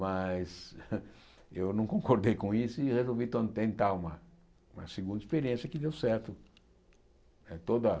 Mas eu não concordei com isso e resolvi to tentar uma uma segunda experiência que deu certo. Eh toda